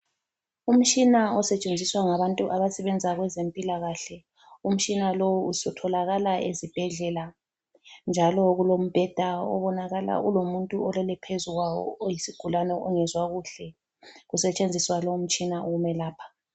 Umtshina osetshenziswa ngabantu abasebenza kwezempilakahle. Umtshina lowu utholakala ezibhedlela njalo kulombheda obonakala ulomuntu olele phezu kwawo oyisigulane ongezwa kuhle kusetshenziswa lowo mtshina ukumelapha.